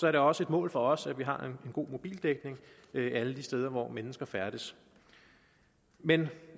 er det også et mål for os at vi har en god mobildækning alle steder hvor mennesker færdes men